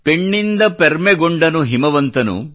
ಪೆಣ್ಣಿಂದ ಪೆರ್ಮೆಗೊಂಡನು ಹಿಮವಂತನು